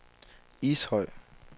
Ishøj